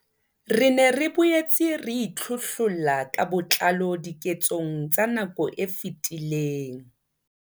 Re ne re boetse re itlhohlolla ka botlalo diketsong tsa nako e fetileng.